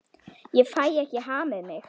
Ég fæ ekki hamið mig.